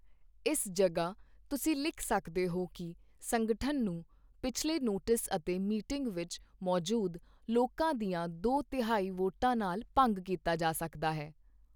ਇਸ ਜਗ੍ਹਾ ਤੁਸੀਂ ਲਿਖ ਸਕਦੇ ਹੋ ਕਿ ਸੰਗਠਨ ਨੂੰ ਪਿਛਲੇ ਨੋਟਿਸ ਅਤੇ ਮੀਟਿੰਗ ਵਿੱਚ ਮੌਜੂਦ ਲੋਕਾਂ ਦੀਆਂ ਦੋ ਤਿਹਾਈ ਵੋਟਾਂ ਨਾਲ ਭੰਗ ਕੀਤਾ ਜਾ ਸਕਦਾ ਹੈ।